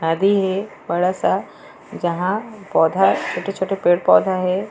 नदी हे बड़ा सा जहाँ पौधा छोटे-छोटे पेड़-पौधा हे।